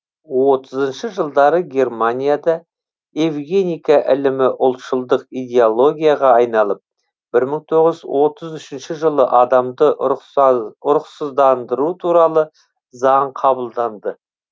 отызыншы жылдары германияда евгеника ілімі ұлтшылдық идеологияға айналып бір мың тоғыз жүз отыз үшінші жылы адамды ұрықсыздандыру туралы заң қабылданды